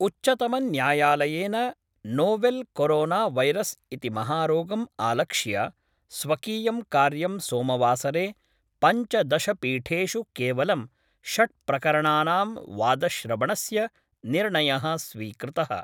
उच्चतमन्यायालयेन novel coronavirus इति महारोगम् आलक्ष्य स्वकीयं कार्यम् सोमवासरे पञ्चदशपीठेषु केवलं षट् प्रकरणानां वादश्रवणस्य निर्णयः स्वीकृतः।